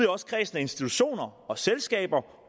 også kredsen af institutioner og selskaber